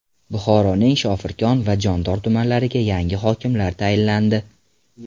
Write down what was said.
Buxoroning Shofirkon va Jondor tumanlariga yangi hokimlar tayinlandi.